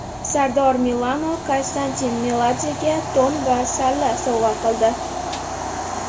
Sardor Milano Konstantin Meladzega to‘n va salla sovg‘a qildi.